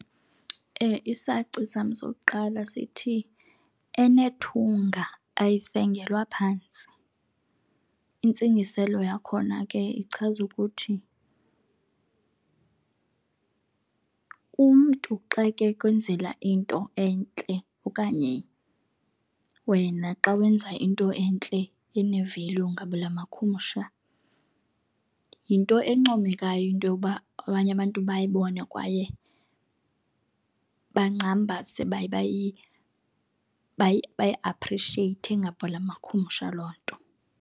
isaci sam sokuqala sithi enethunga ayisengelwa phantsi. Intsingiselo yakhona ke ichaza ukuthi umntu xa kekwenzela into entle okanye wena xa wenza into entle ene-value ngabelamakhumsha yinto encomekayo into yokuba abanye abantu bayibone kwaye bangxambase bayi-appreciate ngabelakhumsha loo nto.